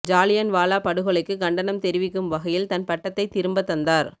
ஜாலியன்வாலா படுகொலைக்கு கண்டனம் தெரிவிக்கும் வகையில் தன் பட்டத்தை திரும்ப தந்தார்